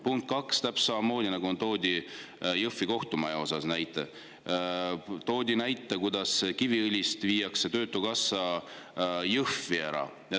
Punkt kaks: täpselt samamoodi toodi näide Jõhvi kohtumaja kohta, toodi näide, et Kiviõlist viiakse töötukassa Jõhvi ära.